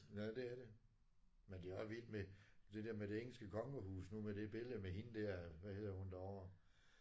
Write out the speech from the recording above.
Ja det er det. Men det er også vildt med det der med det engelske kongehus nu med det billede med hende der hvad hedder hun derovre